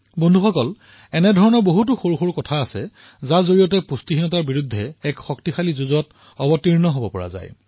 মিত্ৰসকল এনেকুৱা বহু সৰু সৰু কথা আছে যাৰ জৰিয়তে আমাৰ দেশে কুপোষণৰ বিৰুদ্ধে এক কাৰ্যকৰী যুদ্ধ কৰিব পাৰে